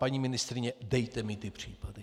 Paní ministryně, dejte mi ty případy.